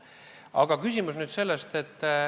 Aga küsimus on nüüd selles.